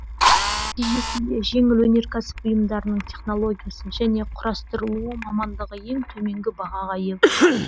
нәтижесінде жеңіл өнеркәсіп бұйымдарының технологиясы және құрастырылуы мамандығы ең төменгі бағаға ие болған